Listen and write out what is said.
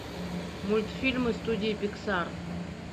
мультфильмы студии пиксар